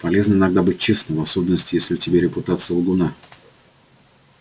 полезно иногда быть честным в особенности если у тебя репутация лгуна